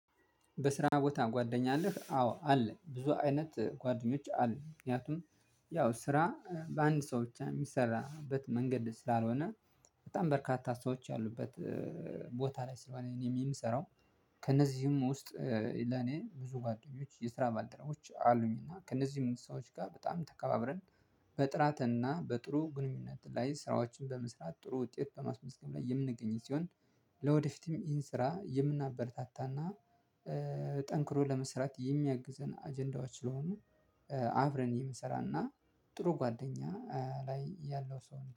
በስራ ቦታ ጓደኛ አለህ? አዎ አለ ብዙ አይነት ጓደኞች አሉ። ምክንያቱም ያው ስራ በአንድ ሰው ብቻ የሚሰራበት መንገድ ስላልሆነ በጣም በርካታ ሰዎች ያሉበት ቦታ ላይ ስለሆነ እኔ የምሰራው። ከእነዚህም ውስጥ ለኔ ብዙ ጓደኞች የስራ ባልደረቦች አሉኝ። እና ከእነዚህ ሰዎች ጋር በጣም ተከባብረን በጥራትና በጥሩ ግንኙነት ላይ ስራዎችን በመስራት ጥሩ ውጤት በማስመዝገብ ላይ የምንገኝ ሲሆን። ለወደፊትም ይህን ስራ የምናበረታታና ጠንክሮ ለመስራት የሚያግዘን አጀንዳዎች ስለሆኑ አብረን የምንሰራና ጥሩ ጓደኛ ላይ ያለው ሰው